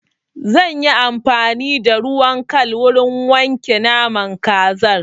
Zan yi amfani da ruwan kal wurin wanke naman kazar.